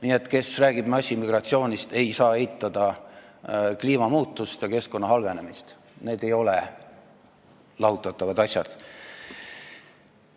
Nii et see, kes räägib massimigratsioonist, ei saa eitada kliimamuutusi ja keskkonna halvenemist – need ei ole lahutatavad asjad.